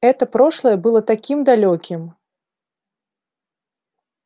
это прошлое было таким далёким